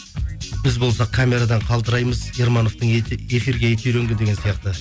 біз болсақ камерадан қалтыраймыз ермановтың эфирге еті үйренген деген сияқты